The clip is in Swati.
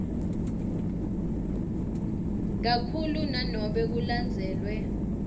kakhulu nanobe kulandzelwe